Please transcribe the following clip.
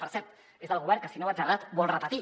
per cert és el govern que si no vaig errat vol repetir